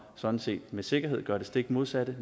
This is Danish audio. sådan set med sikkerhed gør det stik modsatte